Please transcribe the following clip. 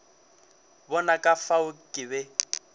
bona ka fao ke be